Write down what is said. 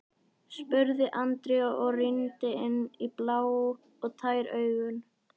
spurði Andri og rýndi inn í blá og tær augun.